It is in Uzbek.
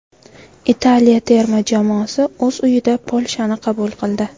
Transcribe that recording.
Italiya terma jamoasi o‘z uyida Polshani qabul qildi.